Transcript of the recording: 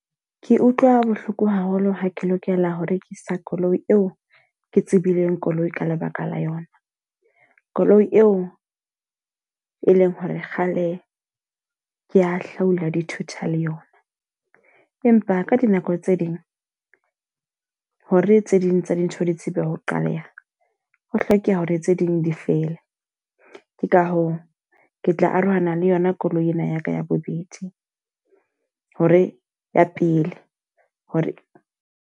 Ke utlwa bohloko haholo ha ke lokela ho rekisa koloi eo ke tsebileng koloi ka lebaka la yona. Koloi eo e leng hore kgale ke hahlaula dithota le yona. Empa ka dinako tse ding, hore tse ding tsa dintho di tsebe ho qaleha, ho hlokeha hore tse ding di fele. Ke ka hoo ke tla arohana le yona koloi ena ya ka ya bobedi, hore ya pele hore.